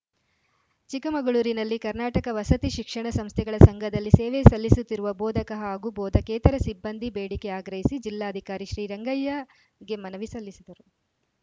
ಚಿಕ್ಕಮಗಳೂರಿನಲ್ಲಿ ಕರ್ನಾಟಕ ವಸತಿ ಶಿಕ್ಷಣ ಸಂಸ್ಥೆಗಳ ಸಂಘದಲ್ಲಿ ಸೇವೆ ಸಲ್ಲಿಸುತ್ತಿರುವ ಬೋಧಕ ಹಾಗೂ ಬೋಧಕೇತರ ಸಿಬ್ಬಂದಿ ಬೇಡಿಕೆ ಆಗ್ರಹಿಸಿ ಜಿಲ್ಲಾಧಿಕಾರಿ ಶ್ರೀರಂಗಯ್ಯಗೆ ಮನವಿ ಸಲ್ಲಿಸಿದರು